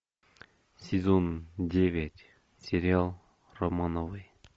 сезон девять сериал романовы